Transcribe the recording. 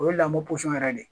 O ye lamɔ pɔsɔn yɛrɛ de ye